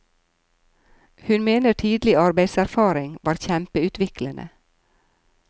Hun mener tidlig arbeidserfaring var kjempeutviklende.